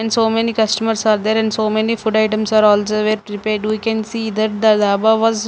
so many customers are there and so many food items are also where we can see that the daba was--